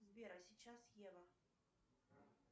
сбер а сейчас ева